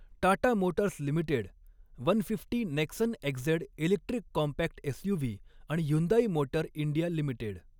Tata Motors Limited one fifty Nexon XZ electric compact SUV आणि Hyundai Motor India limited